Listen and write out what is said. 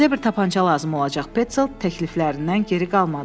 Bizə bir tapança lazım olacaq, Pentsel təkliflərindən geri qalmadı.